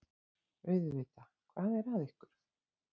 Auðvitað, hvað er að ykkur?